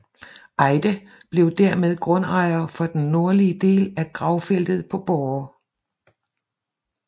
Eyde blev dermed grundejer for den nordlige del af gravfeltet på Borre